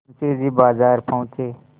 मुंशी जी बाजार पहुँचे